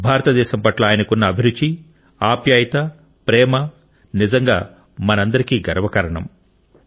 భారతదేశం పట్ల ఆయనకున్న అభిరుచి ఆప్యాయత ప్రేమ నిజంగా మనందరికీ గర్వకారణం